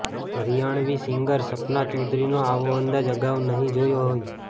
Haryanvi singer Sapna ચૌધરીનો આવો અંદાજ અગાઉ નહીં જોયો હોય